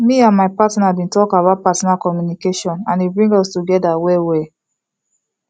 me and my partner been talk about partner communication and e bring us together well well